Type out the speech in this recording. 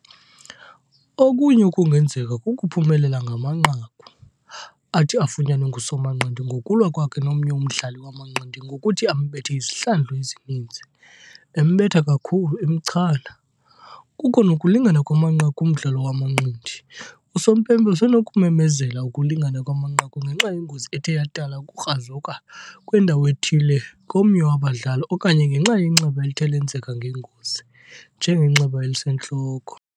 Okunye okungenzeka kukuphumelela ngamanqaku, athi afunyanwe ngusomanqindi ngokulwa kwakhe nomnye umdlali wamanqindi ngokuthi ambethe izihlandlo ezininzi, embetha kakhulu, emchana. kukho nokulingana kwamanqaku kumdlalo wamanqindi. usompempe usenokumemezela ukulingana kwamanqaku ngenxa yengozi ethe yadala ukukrazuka kwendawo ethile komnye wabadlali okanye ngenxa yenxeba elithe lenzeka ngengozi, njengenxeba elisentloko.